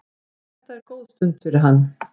Þetta er góð stund fyrir hann.